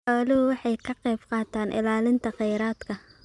Xooluhu waxay ka qaybqaataan ilaalinta kheyraadka.